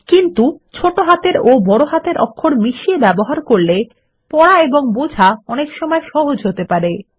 কিন্তু ছোট হাতের ও বড় হাতের অক্ষর মিশিয়ে ব্যবহার করলে পড়া এবং বোঝা অনেকসময় সহজ হতে পারে